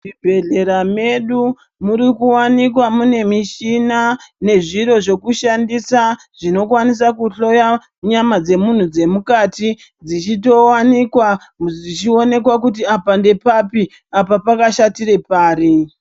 Zvibhedhlera medu muri kuwanikwa mune mishina nezviro zvekushandisa zvinokwanisa kuhloya nyama dzemunhu dzemukati dzichitowanikwa zvichiwonekwa kuti apa ndepapi apa pakashatire pari.